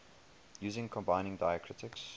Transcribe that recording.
using combining diacritics